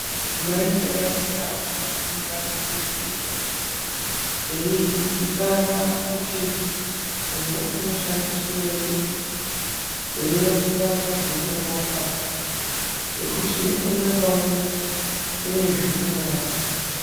Mai nevaisa wanofunda mbiti, weidzidzisana kuti uyu unoshandiswei weionesana zveunorapa, ngekuti umwe naumwe une zveunorapa.